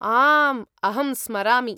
आम्, अहं स्मरामि।